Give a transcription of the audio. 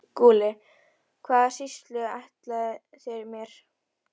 SKÚLI: Hvaða sýslu ætlið þér mér?